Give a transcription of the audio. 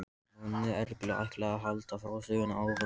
Nonni Erlu ætlaði að halda frásögninni áfram.